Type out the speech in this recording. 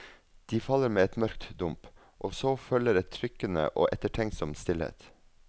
De faller med et mørkt dump, også følger en trykkende og ettertenksom stillhet.